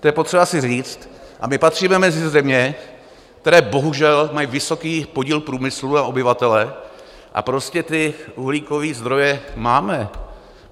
To je potřeba si říct a my patříme mezi země, které bohužel mají vysoký podíl průmyslu na obyvatele, a prostě ty uhlíkové zdroje máme.